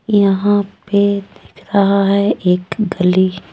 यहां पे दिख रहा है एक गली।